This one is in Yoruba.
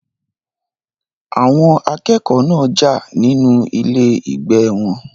Àwọn akẹ́kọ̀ọ́ náà jà nínú ilé ìgbé wọn.